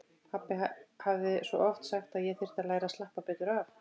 Pabbi hafði svo oft sagt að ég þyrfti að læra að slappa betur af.